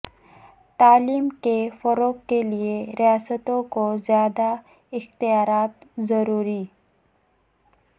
تعلیم کے فروغ کیلئے ریاستوں کو زیادہ اختیارات ضروری